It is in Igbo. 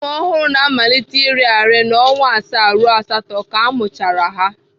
Ụmụ ọhụrụ na-amalite iri arị na ọnwa asaa ruo asatọ ka a mụchara ha.